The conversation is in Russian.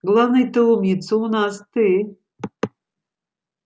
главный-то умница у нас ты